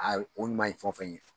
Aa o ɲuman ye fɛn o fɛn ye